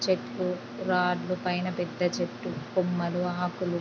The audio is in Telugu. చెట్లు రాడ్లు పైన పెద్ద చెట్టు కొమ్మలు ఆకులు--